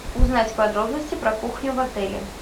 узнать подробности про кухню в отеле